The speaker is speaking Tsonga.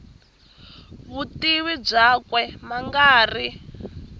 vutivi byakwe ma nga ri